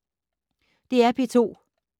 DR P2